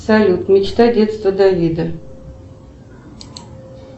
салют мечта детства давида